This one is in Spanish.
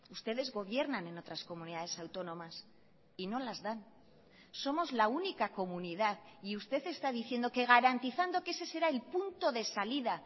ustedes gobiernan en otras comunidades autónomas y no las dan somos la única comunidad y usted está diciendo que garantizando que ese será el punto de salida